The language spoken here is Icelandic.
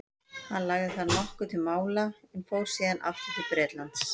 hann lagði þar nokkuð til mála en fór síðan aftur til bretlands